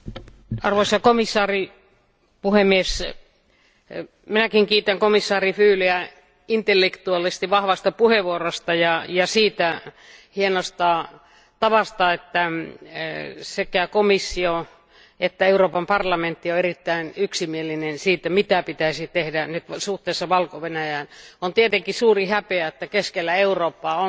Arvoisa puhemies, arvoisa komissaari, minäkin kiitän komissaari Füleä intellektuaalisesti vahvasta puheenvuorosta ja siitä hienosta tavasta, että sekä komissio että Euroopan parlamentti on erittäin yksimielinen siitä, mitä pitäisi tehdä nyt suhteessa Valko Venäjään. On tietenkin suuri häpeä, että keskellä Eurooppaa on